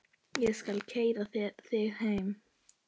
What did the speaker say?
Ég skal keyra þig heim.